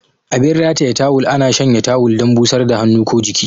Abin rataye tawul ana shanya tawul dan busar da hannu ko jiki.